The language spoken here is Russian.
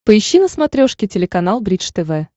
поищи на смотрешке телеканал бридж тв